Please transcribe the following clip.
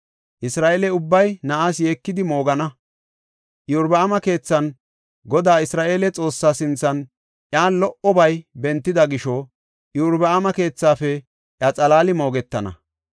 Isra7eele ubbay na7aas yeekidi moogana. Iyorbaama keethan Godaa Isra7eele Xoossaa sinthan iyan lo77obay bentida gisho, Iyorbaama keethaafe iya xalaali moogetana.